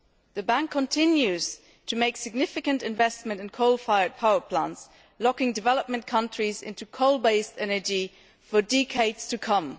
The bank continues to make significant investment in coal fired power plants, locking developing countries into coal based energy for decades to come.